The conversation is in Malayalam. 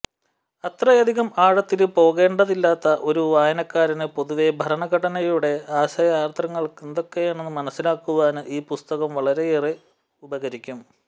അത്രയധികം ആഴത്തില് പോകേണ്ടതില്ലാത്ത ഒരു വായനക്കാരന് പൊതുവേ ഭരണഘടനയുടെ ആശയാദര്ശങ്ങളെന്തൊക്കെയെന്ന് മനസ്സിലാക്കുവാന് ഈ പുസ്തകം വളരെയേറെ ഉപകരിക്കും